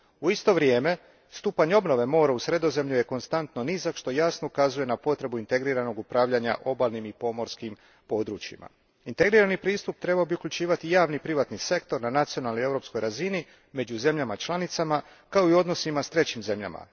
U isto vrijeme, stupanj obnove mora u Sredozemlju je konstantno nizak, što jasno ukazuje na potrebu integriranog upravljanja obalnim i pomorskim područjima. Integrirani pristup trebao bi uključivati i javni i privatni sektor na nacionalnoj i europskoj razini među zemljama članicama, kao i u odnosima s trećim zemljama.